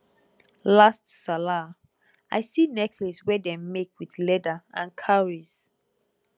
last sallah i see necklace wey dem make with leather and cowries